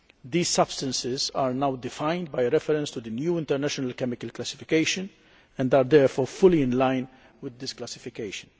These substances are now defined by reference to the new international chemical classification and are therefore fully in line with this classification.